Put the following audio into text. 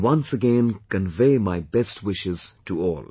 I, once again convey my best wishes to all